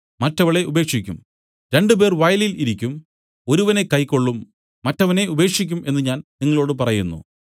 മറ്റവളെ ഉപേക്ഷിക്കും രണ്ടുപേർ വയലിൽ ഇരിക്കും ഒരുവനെ കൈക്കൊള്ളും മറ്റവനെ ഉപേക്ഷിക്കും എന്നു ഞാൻ നിങ്ങളോടു പറയുന്നു